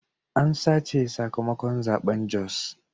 An sace sakamakon zaben Jos.